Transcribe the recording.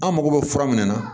An mago bɛ fura min na